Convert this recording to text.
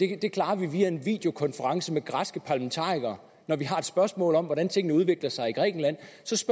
kan klare via en videokonference med græske parlamentarikere når vi har spørgsmål om hvordan tingene udvikler sig i grækenland